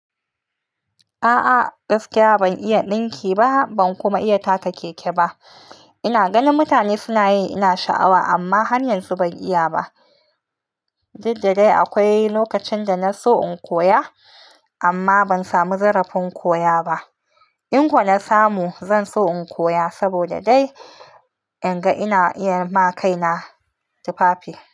A'a gaskiya ban iya dinki ba, ban kuma iya taka keke ba. Ina ganin mutane suna yi, ina sha'awa amma hanyar su ban iya ba. Didddai akwai lokacin da na so in koya amma ban samu zarafin koya ba. In kwa na samu, zan so in koya saboda dai in ga ina iya ma kaina tufafi.